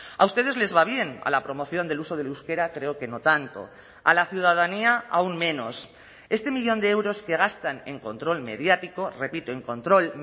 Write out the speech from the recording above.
a ustedes les va bien a la promoción del uso del euskera creo que no tanto a la ciudadanía aún menos este millón de euros que gastan en control mediático repito en control